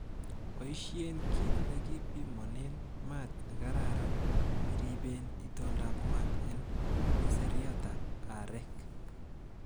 Boishen kit nekipimonen maat nekararan iribeen itondab maat en keseraitab areek.